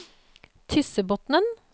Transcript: Tyssebotnen